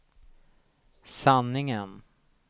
sanningen